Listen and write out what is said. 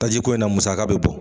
Tajiko in na musaka bɛ bɔ.